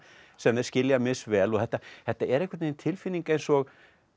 sem þeir skilja misvel og þetta þetta er einhvern veginn tilfinning eins og